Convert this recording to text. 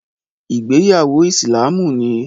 Ìgbéyàwó Ìsìlámù ni